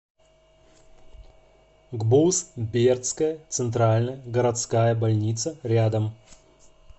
гбуз бердская центральная городская больница рядом